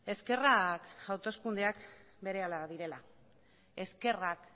eskerrak hauteskundeak berehala direla eskerrak